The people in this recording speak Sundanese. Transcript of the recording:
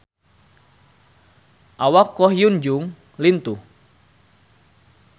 Awak Ko Hyun Jung lintuh